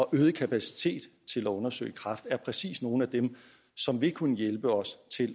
øget kapacitet til at undersøge kræft præcis er nogle ting som vil kunne hjælpe os til